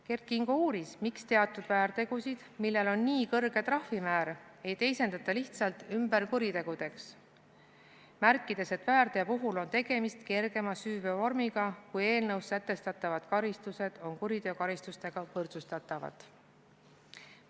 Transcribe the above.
Kert Kingo uuris, miks teatud väärtegusid, millel on nii kõrge trahvimäär, ei teisendata lihtsalt ümber kuritegudeks, märkides, et väärteo puhul on tegemist kergema süüteovormiga, kuid eelnõus sätestatavad karistused on kuriteokaristustega võrdsustatavad.